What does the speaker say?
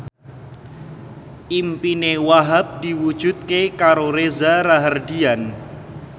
impine Wahhab diwujudke karo Reza Rahardian